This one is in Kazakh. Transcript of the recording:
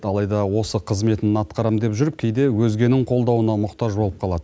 алайда осы қызметін атқарамын деп жүріп кейде өзгенің қолдауына мұқтаж болып қалады